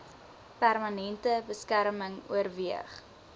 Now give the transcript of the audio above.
permanente beskerming oorweeg